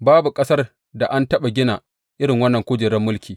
Babu ƙasar da an taɓa gina irin wannan kujerar mulki.